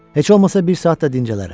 Heç olmasa bir saat da dincələrəm.